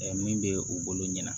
min bɛ u bolo ɲɛna